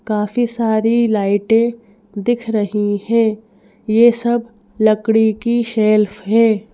काफी सारी लाइटें दिख रही हैं ये सब लकड़ी की शेल्फ है।